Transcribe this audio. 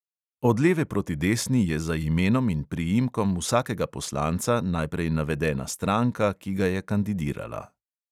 Od leve proti desni je za imenom in priimkom vsakega poslanca najprej navedena stranka, ki ga je kandidirala.